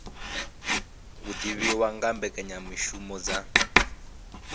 u divhiwa nga mbekanyamishumo dza